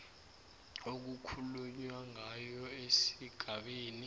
okukhulunywa ngayo esigabeni